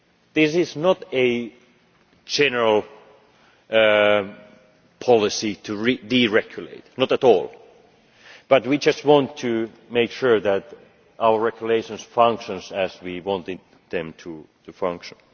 This is not a general policy to deregulate, not at all, but we just want to make sure that our regulations function as we wanted them to function.